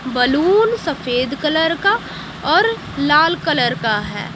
Balloon सफेद colour का और लाल कलर का है।